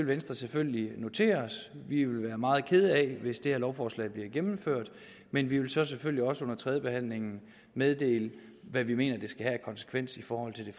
venstre selvfølgelig notere os vi vil være meget kede af hvis det her lovforslag bliver gennemført men vi vil så selvfølgelig også under tredjebehandlingen meddele hvad vi mener det skal have af konsekvens i forhold til det